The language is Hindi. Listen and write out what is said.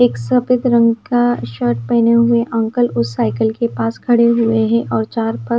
एक सफेद रंग का शर्ट पहने हुए अंकल उस साइकिल के पास खड़े हुए हैं और चार --